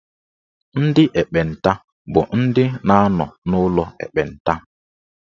Ndị ekpenta bụ ndị na-anọ n'ụlọ ekpenta.